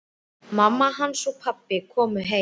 Mamma hans og pabbi komu heim.